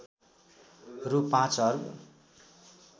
रु ५ अर्ब